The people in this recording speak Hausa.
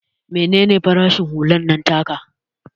Mene ne farashin hular nan taka?